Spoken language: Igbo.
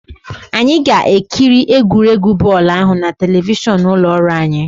Anyị ga-ekiri egwuregwu bọọlụ ahụ na telivishọn ụlọ ọrụ anyi